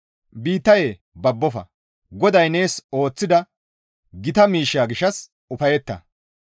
Biittayee babbofa; GODAY nees ooththida gita miishsha gishshas ufayetta!